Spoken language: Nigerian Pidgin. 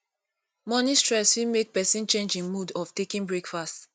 morning stress fit make pesin change im mood of taking breakfast